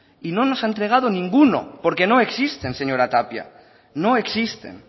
y no nos ha entregado ninguno porque no existen señora tapia no existen